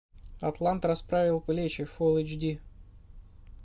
атлант расправил плечи фулл эйч ди